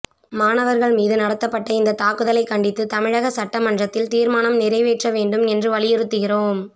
மாணவர்கள் மீது நடத்தப்பட்ட இந்த தாக்குதலைக் கண்டித்து தமிழக சட்டமன்றத்தில் தீர்மானம் நிறைவேற்ற வேண்டும் என்றும் வலியுறுத்துகிறோம்